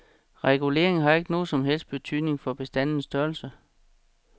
Regulering har ikke nogen som helst betydning for bestandens størrelse.